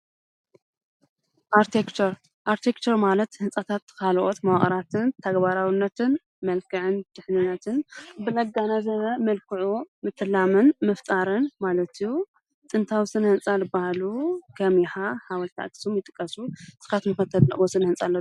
ኣርክቴክቸርን፡- ኣርክቴክቸር ማለት ህንፃታት ኻልኦት መዋቕራትን ተግባራውነትን መልከዕን ድሕኑነትን ብለጋናዘበ መልክዑ ምትላምን ምፍጣርን ማለት እዩ፡፡ ጥንታዊ ስነ ህንፃ ልባሃሉ ኸም የሓ፣ ሓወልቲ ኣክሱም ይጥቀሱ፡፡ ንስኻትኩም ከ ተድንቕዎ ስነ ህንፃ ዶ ኣሎ?